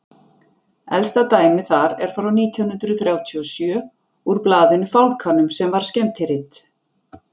elsta dæmið þar er frá nítján hundrað þrjátíu og sjö úr blaðinu fálkanum sem var skemmtirit